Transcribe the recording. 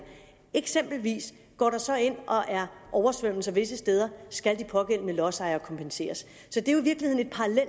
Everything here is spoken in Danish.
eksempelvis oversvømmelser visse steder skal de pågældende lodsejere kompenseres